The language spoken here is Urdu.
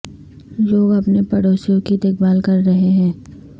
لوگ اپنے پڑوسیوں کی دیکھ بھال کر رہے ہیں